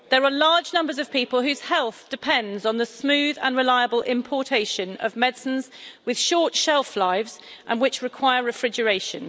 There are large numbers of people whose health depends on the smooth and reliable importation of medicines which have a short shelf life and require refrigeration.